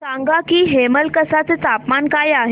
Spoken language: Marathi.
सांगा की हेमलकसा चे तापमान काय आहे